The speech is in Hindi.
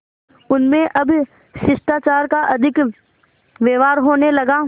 उनमें अब शिष्टाचार का अधिक व्यवहार होने लगा